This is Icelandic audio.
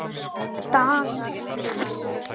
Dagar líða.